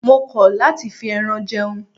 Mo kọ̀ láti fi ẹran jẹun.